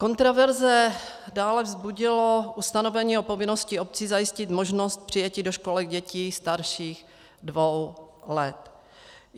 Kontroverze dále vzbudilo ustanovení o povinnosti obcí zajistit možnost přijetí do školek dětí starších dvou let.